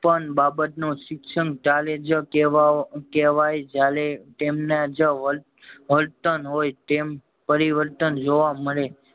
એક પણ બાબત નો શિક્ષમ ત્યારેજ કેવાવ કેવાય જયારે તેમનેજ વ વર્તન હોય તેમ પરિવર્તન જોવા મળે